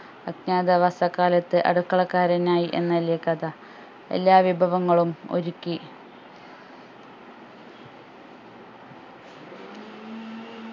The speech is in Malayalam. അജ്ഞാത വാസക്കാലത്ത് അടുക്കളക്കാരനായി എന്നല്ലെ കഥ എല്ലാ വിഭവങ്ങളും ഒരുക്കി